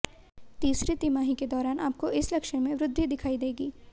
तीसरी तिमाही के दौरान आपको इस लक्षण में वृद्धि दिखाई देगी